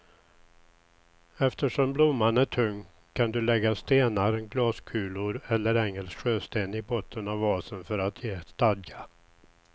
Eftersom blomman är tung kan du lägga stenar, glaskulor eller engelsk sjösten i botten av vasen för att ge stadga.